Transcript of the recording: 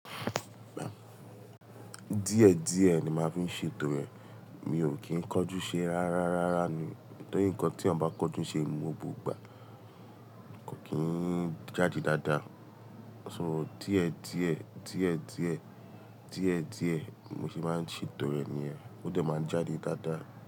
Díẹ̀ díẹ̀ ni máa fi ń ṣe ètò rẹ̀. Mi ò kí ń kán jú ṣe ráráaárá ni. Nítorí ǹkan tí èèyàn bá kán jú ṣe ní gbogbo ìgbà, kò kí ń jáde dáadáa. So díẹ̀ díẹ̀, díẹ̀ díẹ̀, díẹ̀ díẹ̀ mo ṣe máa ń ṣe ètò rẹ̀ nì yẹn ó dẹ̀ máa ń jáde dáadáa.